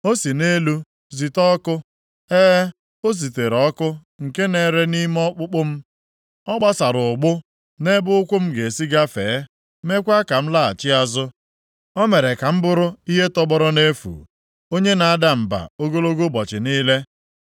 “O si nʼelu zite ọkụ, e, o zitere ọkụ nke na-ere nʼime ọkpụkpụ m. Ọ gbasara ụgbụ nʼebe ụkwụ m ga-esi gafee, meekwa ka m laghachi azụ. O mere ka m bụrụ ihe tọgbọrọ nʼefu, onye na-ada mba ogologo ụbọchị niile.